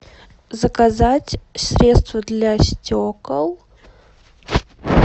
заказать средство для стекол